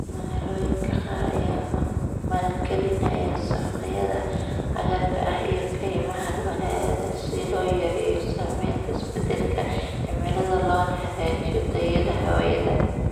Magaalooyinka qaar ayaa maalgelinaya saqafyada cagaarka ah iyo kaymaha magaalada si loo yareeyo saameynta isbeddelka cimilada loona hagaajiyo tayada hawada.